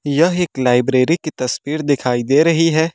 यह एक लाइब्रेरी की तस्वीर दिखाई दे रही है।